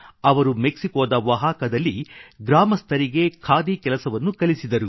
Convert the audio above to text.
ಅವರು ಮೆಕ್ಸಿಕೊದ ಒಹಾಕಾದಲ್ಲಿ ಗ್ರಾಮಸ್ಥರಿಗೆ ಖಾದಿ ಕೆಲಸವನ್ನು ಕಲಿಸಿದರು